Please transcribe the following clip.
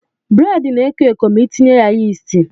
Bredị na-eko eko ma Ị tinye ya yisti.